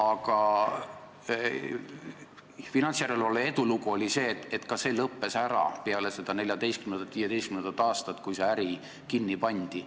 Aga finantsjärelevalve edulugu oli see, et ka see äri lõppes ära peale 2014. ja 2015. aastat, kui see kinni pandi.